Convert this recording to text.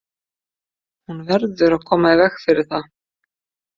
Hún verður að koma í veg fyrir það.